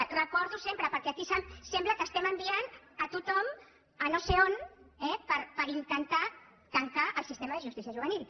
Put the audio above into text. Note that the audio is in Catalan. ho recordo sempre perquè aquí sembla que enviem tothom a no sé on per intentar tancar el sistema de justícia juvenil